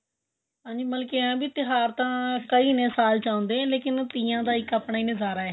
ਹਾਂਜੀ ਮਤਲਬ ਏਵੇਂ ਹੈ ਤਿਉਹਾਰ ਤਾਂ ਕਈ ਨੇ ਸਾਲ ਚ ਆਉਂਦੇ ਪਰ ਤੀਆਂ ਦਾ ਆਪਣਾ ਹੀ ਇੱਕ ਨਜ਼ਾਰਾ